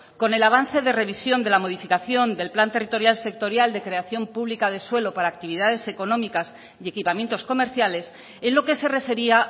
con el avance de revisión de la modificación del plan territorial sectorial de creación pública de suelo para actividades económicas y equipamientos comerciales en lo que se refería